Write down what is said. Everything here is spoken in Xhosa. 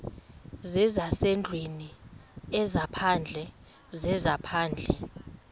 zezasendlwini ezaphandle zezaphandle